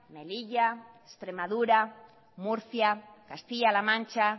melilla extremadura murcia castilla la mancha